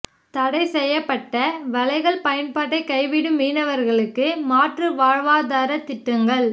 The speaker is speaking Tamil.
தடை செய்யப்பட்ட வலைகள் பயன்பாட்டை கைவிடும் மீனவா்களுக்கு மாற்று வாழ்வாதார திட்டங்கள்